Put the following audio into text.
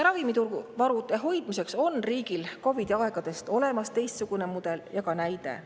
Ravimivarude hoidmiseks on riigil COVID‑i aegadest olemas teistsugune mudel ja ka näide.